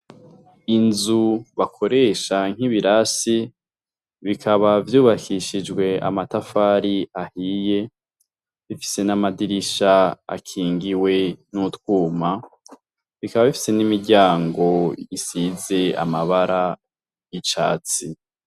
Inzu bakoresha nk'ibirasi bikaba vyubakishijwe amatafari ahiye bifise n'amadirisha akingiwe n'utwuma, bikaba bifise n'imiryango isize amabara y'icatsi.